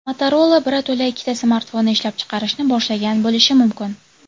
Motorola birato‘la ikkita smartfonni ishlab chiqarishni boshlagan bo‘lishi mumkin.